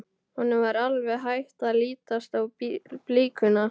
Honum var alveg hætt að lítast á blikuna.